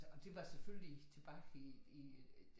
Og det var selvfølgelig tilbage i i øh